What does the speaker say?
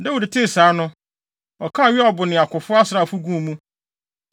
Dawid tee saa no, ɔkaa Yoab ne akofo asraafo guu mu.